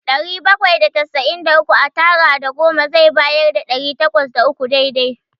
Ɗari bakwai da casa'in da uku a tara da goma zai bayar da ɗari takwas da uku dai-dai.